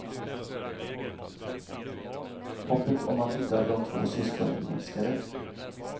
Hoppet om att hitta de två syskonen minskade.